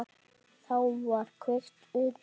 Þá var kveikt undir.